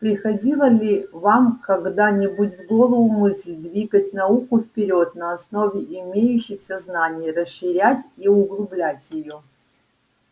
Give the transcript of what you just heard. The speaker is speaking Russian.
приходила ли вам когда-нибудь в голову мысль двигать науку вперёд на основе имеющихся знаний расширять и углублять её